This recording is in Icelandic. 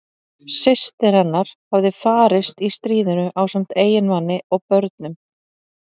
Systir hennar hafði farist í stríðinu ásamt eiginmanni og börnum.